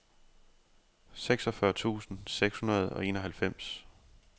seksogfyrre tusind seks hundrede og enoghalvfems